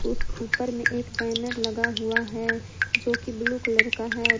उस ऊपर में एक बैनर लगा हुआ है जोकि ब्ल्यू कलर का है।